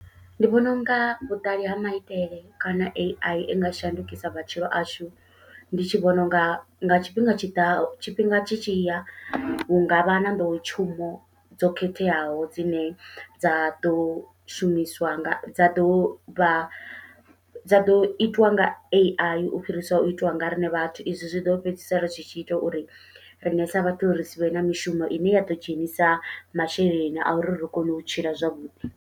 Ndi vhona unga vhuṱali ha maitele kana AI inga shandukisa matshilo ashu, ndi tshi vhona unga nga tshifhinga tshiḓaho tshifhinga tshi tshiya hu ngavha na nḓowetshumo dzo khetheaho dzine dza ḓo shumiswa nga dza ḓovha dza ḓo itwa nga AI, u fhirisa u itiwa nga riṋe vhathu izwi zwiḓo fhedzisela ri tshi tshi ita uri riṋe sa vhathu ri sivhe na mishumo ine ya ḓo dzhenisa masheleni a uri ri kone u tshila zwavhuḓi.